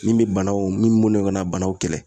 Min be banaw min ka na banaw kɛlɛ.